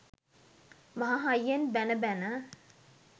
මහ හයියෙන් බැණ බැණ